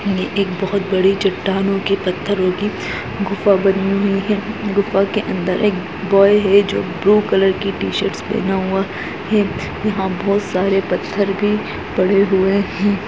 ये एक बहौत बड़ी चटानो की पथरों की गुफा बनी हुई है गुफा के अंदर एक बॉय है जो ब्लू कलर की टी-शर्टस पहना हुआ है यहाँ बहौत सारे पत्थर भी पड़े हुए हैं।